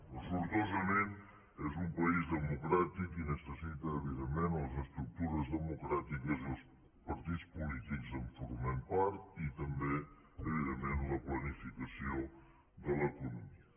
però sortosament és un país democràtic i necessita evidentment les estructures democràtiques i els partits polítics en formem part i també evidentment la planificació de l’economia